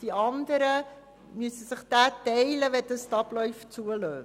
Die anderen müssen sich die Arbeitsplätze teilen, wenn die Abläufe das zulassen.